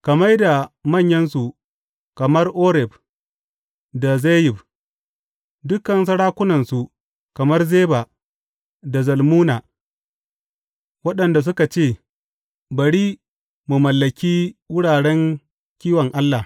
Ka mai da manyansu kamar Oreb da Zeyib, dukan sarakunansu kamar Zeba da Zalmunna, waɗanda suka ce, Bari mu mallaki wuraren kiwon Allah.